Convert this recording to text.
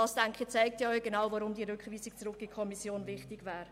Diese zeigen, weshalb die Rückweisung an die Kommission wichtig wäre.